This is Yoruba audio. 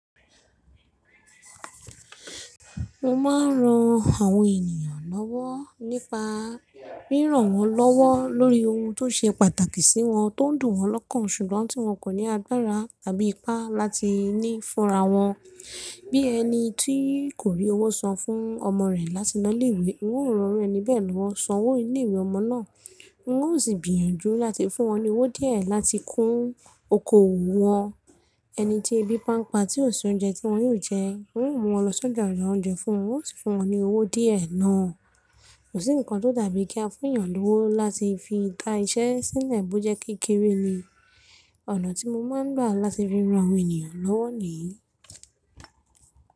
Mo máa ń ran àwọn ènìyàn lọ́wọ́ nípa ríran wọ́n lọ́wọ́ lórí ohun tó ṣe pàtàkì sí wọn, tó ń dùn wọ́n lọ́kàn ṣùgbọ́n tí wọn kò ní agbára tàbí ipá láti ní fúnra wọn. Bí ẹni tí kò rí owó san fún ọmọ rẹ̀ láti lọ ilé ìwé, n óò ran ẹni bẹ́ẹ̀ lọ́ san owó ilé ìwé ọmọ náà, n ó sì gbìyànjú láti fún wọn ní owó díẹ̀ láti kún oko wọn. Ẹni tí ebi bá n pa tí ò sí oúnjẹ tí wọn yóò jẹ, n óò mú wọn lọ sí ọjà ra oúnjẹ fún wọn, n ó sì fún wọn ní owó díẹ̀ náà. Kò sí nǹkan tó dàbí kí a fún èyàn lówó láti fi dá iṣẹ́ sílẹ̀ bó jẹ́ kékeré ni. Ọ̀nà tí mo máa ń gbà láti fi ran àwọn ènìyàn lọ́wọ́ ní.